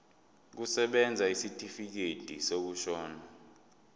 kusebenza isitifikedi sokushona